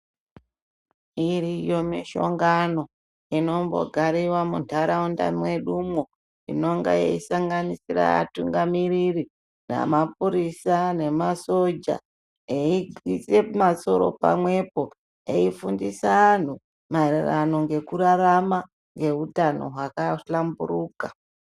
Iriyoo mishongano inombo gariwa mu ndaraunda mwedumo inonga yei sanganisira atungamiriri na mapurisa ne masoja eyi ise masoro pa mwepo eyi fundisa anhu maererano ngeku rarama nge utano hwaka hlamburuka.